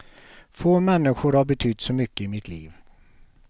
Få människor har betytt så mycket i mitt liv.